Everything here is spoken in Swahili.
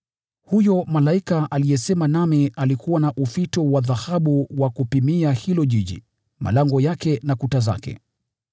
Huyo malaika aliyesema nami alikuwa na ufito wa dhahabu wa kupimia huo mji, malango yake na kuta zake.